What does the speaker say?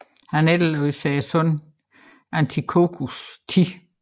Han efterlod sig sønnen Antiochos 10